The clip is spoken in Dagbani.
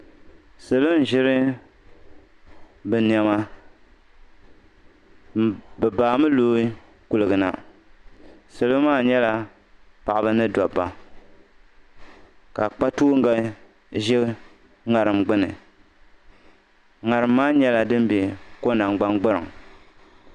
salo ʒiri bɛ nɛma bɛ baami loo kuliga ni salo maa nyɛla paɣiba ni dɔbba ka kpatooŋga ʒi ŋariŋ gbuni ŋariŋ maa nyɛla din be ko' nangbangburiŋ